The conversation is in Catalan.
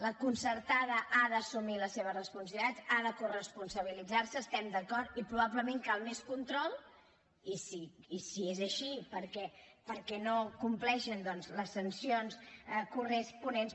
la concertada ha d’assumir les seves responsabilitats ha de coresponsabilitzar se’n hi estem d’acord i probablement cal més control i si és així perquè no compleixen doncs les sancions corresponents